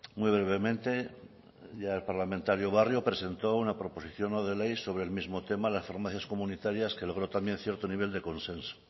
muy brevemente ya el parlamentario barrio presentó una proposición no de ley sobre el mismo tema las farmacias comunitarias que logró también cierto nivel de consenso